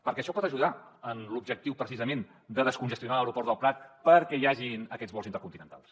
perquè això pot ajudar en l’objectiu precisament de descongestionar l’aeroport del prat perquè hi hagin aquests vols intercontinentals